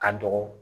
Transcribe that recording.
Ka dɔgɔ